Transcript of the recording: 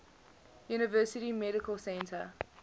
university medical center